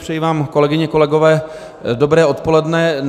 Přeji vám, kolegyně, kolegové, dobré odpoledne.